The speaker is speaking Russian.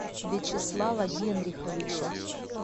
вячеслава генриховича